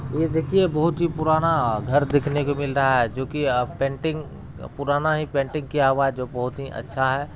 यह देखिए बहुत ही पुराना घर देखने को मिल रहा है। जो की अ पेंटिंग पुराना ही पेंटिंग किया हुआ है जो बहुत ही अच्छा है।